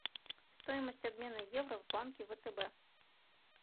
стоимость обмена евро в банке втб